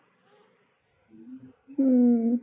উম